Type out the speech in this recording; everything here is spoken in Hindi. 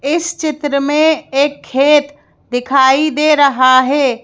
इस चित्र में एक खेत दिखाई दे रहा है।